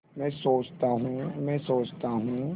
मैं सोचता हूँ मैं सोचता हूँ